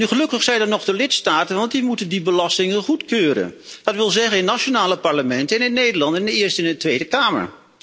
Gelukkig zijn er nog de lidstaten, want die moeten die belastingen goedkeuren, dat wil zeggen in nationale parlementen en in Nederland in de Eerste en Tweede Kamer.